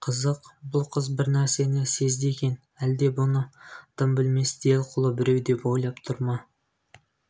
қызық бұл қыз бір нәрсені сезді екен әлде бұны дым білмес делқұлы біреу деп ойлап тұр ма